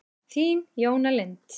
Þín, Jóna Lind.